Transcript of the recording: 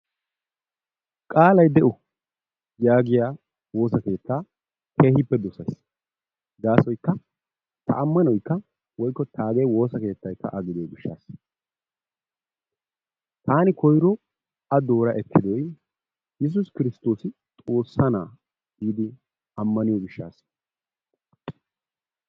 qaalay de'o yaagiyaa woossa keettaa keehippe dosayiis. Ta amanaoykka woykko taagee woossa keettaykka a gidiyoo giishshatasi. Taani koyro a doora eekkidoy yesuusi kristtoosi xoossa na'aa giidi ammaniyoo giishshasa.